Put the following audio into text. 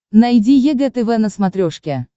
найди егэ тв на смотрешке